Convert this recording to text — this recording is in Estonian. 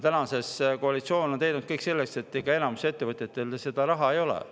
Täna on see koalitsioon teinud kõik selleks, et enamikul ettevõtetel seda raha ei oleks.